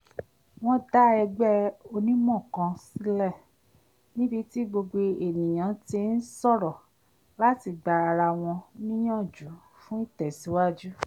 wọ́n dá ẹgbẹ́ onímọ̀ kan sílẹ̀ níbi tí gbogbo ènìyaǹ ti ń sọ̀rọ̀ láti gba ara wọn níyànjú fún ìtẹ̀síwájú